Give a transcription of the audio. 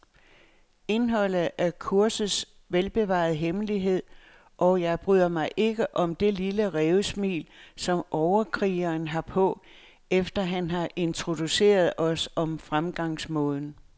Indholdet er kursets velbevarede hemmelighed, og jeg bryder mig ikke om det lille rævesmil, som overkrigeren har på, efter han har introduceret os om fremgangsmåden.